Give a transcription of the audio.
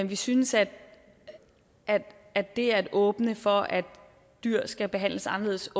vi synes at at det at åbne for at dyr skal behandles anderledes